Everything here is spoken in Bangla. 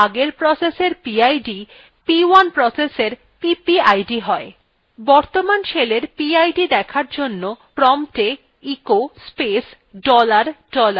বর্তমান শেলের পিআইডি দেখার জন্য promptএ echo space dollar dollar লিখলাম এবং enter টিপলাম